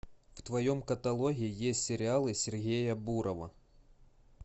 в твоем каталоге есть сериалы сергея бурова